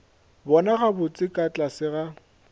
bona gabotse ka tlase ga